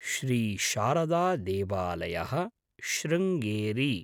श्री शारदा देवालयः शृङ्गेरि